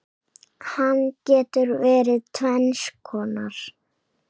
Hann getur verið tvenns konar